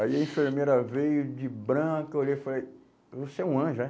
Aí a enfermeira veio de branco, olhei e falei, você é um anjo, é?